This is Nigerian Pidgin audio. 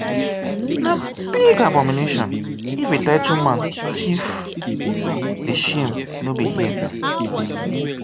na big abomination if a title man thief di shame no be here.